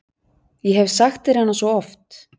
Ég hef sagt þér hana svo oft.